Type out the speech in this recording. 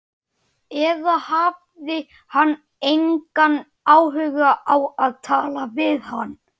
Eða hafði hann engan áhuga á að tala við hana?